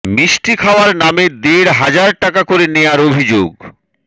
মিষ্টি খাওয়ার নামে দেড় হাজার টাকা করে নেয়ার অভিযোগ